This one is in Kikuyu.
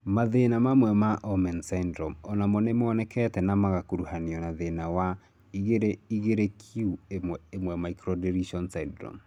Mathĩna mamwe ma Omenn syndrome onamo nĩmonekete na magakuruhanio na thĩna wa 22q11 microdeletion syndrome.